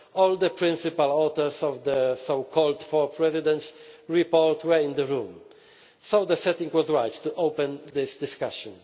Eurozone. All the principal authors of the so called Four Presidents' Report were in the room, so the setting was right to open this discussion.